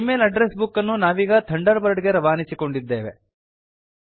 ಜೀ ಮೇಲ್ address book ಅನ್ನು ನಾವೀಗ Thunderbird ಗೆ ರವಾನಿಸಿಕೊಂಡಿದ್ದೇವೆ